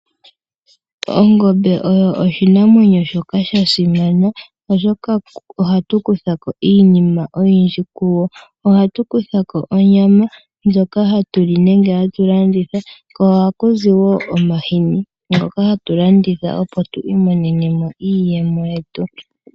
Ongombe oyo oshinamwenyo shoka sha simana, oshoka ohatu kutha ko iinima oyindji kuyo. Ohatu kutha ko onyama ndjoka hatu li nenge hatu landitha, ko ohaku zi wo omahini ngoka hatu landitha opo tu imonene mo iiyemo yetu.